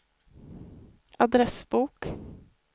adressbok